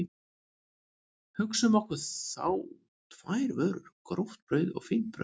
Hugsum okkur þá tvær vörur, gróft brauð og fínt brauð.